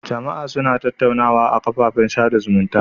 Jama'a suna tattaunawa a kafafen sada zumunta.